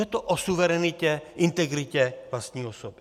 Je to o suverenitě, integritě vlastní osoby.